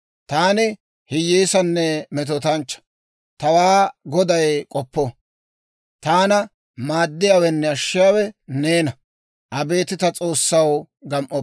Taani hiyyeessanne metootanchchaa; tawaa Goday k'oppo. Taana maaddiyaawenne ashshiyaawe neena; abeet ta S'oossaw, gam"oppa.